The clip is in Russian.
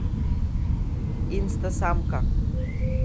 инстасамка